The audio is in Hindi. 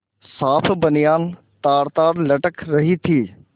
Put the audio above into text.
साफ बनियान तारतार लटक रही थी